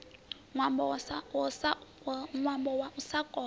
ṅwambo wa u sa kona